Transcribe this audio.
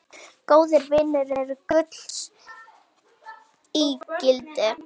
Góðir vinir eru gulls ígildi.